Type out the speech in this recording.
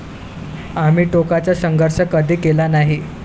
आम्ही टोकाचा संघर्ष कधी केला नाही.